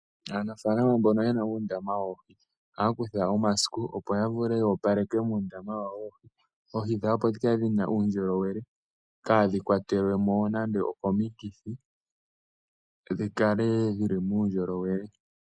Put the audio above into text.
Aanafaalama mboka ye na uundama woohi ohaya kutha omasikiliwu opo ya opaleke muundama wawo woohi, oohi dhawo opo dhi kale dhi na uundjolowele kaadhi kwatelwemo nande okomikithi, dhi kale dhili muundjolowele.